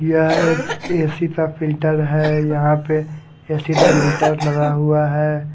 यह एक ए_सी ता फिल्टर है यहां पे ए_सी दा मीटर लगा हुआ है।